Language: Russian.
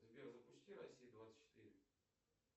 сбер запусти россия двадцать четыре